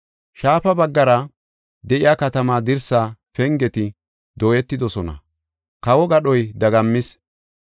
Shaafa baggara de7iya katamaa dirsaa pengeti dooyetidosona; kawo gadhoy dagammis.